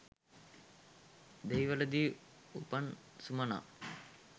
දෙහිවලදී උපන් සුමනා